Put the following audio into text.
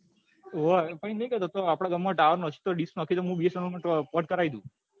હોવે પણ એમ નહિ કેતો તો આપદા ગામ માં tower નાખી તો ડીશ નાખી તો મુ bsnl port કરાવી દઉં